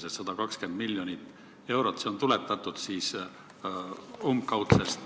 See 120 miljonit eurot on tuletatud umbkaudsest